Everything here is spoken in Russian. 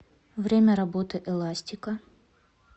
время работы эластика